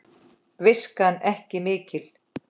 Viskan ekki mikil!